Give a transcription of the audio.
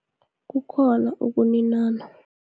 Kukhona ukuninana.